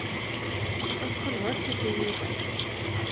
Seinkun á öllu flugi í dag